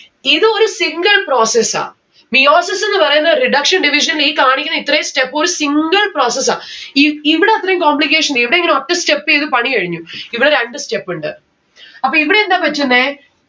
ഇത് ഒരു single process ആ. meiosis ന്ന്‌ പറയുന്നേ reduction division ഈ കാണിക്കണേ ഇത്രേം step ഒരു single process ആ. ഈ ഇവിട അത്രേം complication ഇവിടിങ്ങനെ ഒറ്റ step എയ്ത് പണി കഴിഞ്ഞു. ഇവ രണ്ട്‌ step ഉണ്ട്. അപ്പൊ ഇവിടെ എന്താ പറ്റുന്നേ